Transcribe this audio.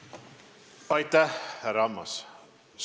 Aitäh, härra Ammas!